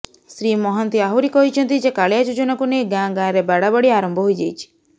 ଶ୍ରୀ ମହାନ୍ତି ଆହୁରି କହିଛନ୍ତି ଯେ କାଳିଆ ଯୋଜନାକୁ ନେଇ ଗାଁ ଗାଁରେ ବାଡାବାଡି ଆରମ୍ଭ ହୋଇଯାଇଛି